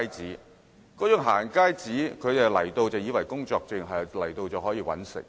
他們以為"行街紙"就是工作證，到香港後便可以"搵食"。